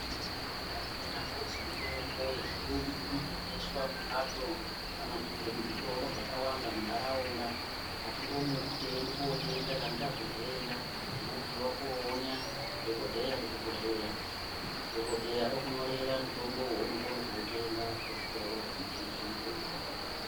Dai kweinyambozi mitombo yechiyungu inotengeswa mumbatso kana kuti muzvitoro zvakawanda muntaraunda, hatingomuki teienda kootenga kana tazwe ndenda. Chinodiwa koona dhogodheya kuchibhehleya, dhogodheya okunyorera mutombo wounokone kootenga kuzvitoro zvinotengeswe mitombo.